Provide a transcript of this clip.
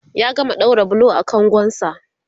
ya gama ɗaura bulo a kangon sa